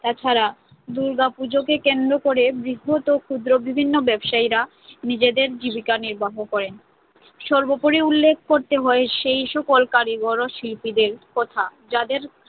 তাছাড়া দুর্গাপুজোকে কেন্দ্র করে বৃহৎ ও ক্ষুদ্র বিভিন্ন ব্যবসায়ীরা নিজেদের জীবিকা নির্বাহ করেন। সর্বোপরি উল্লেখ করতে হয় সেই সকল কারিগর ও শিল্পীদের কথা যাদের